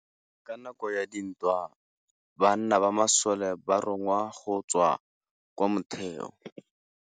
Ka nakô ya dintwa banna ba masole ba rongwa go tswa kwa mothêô.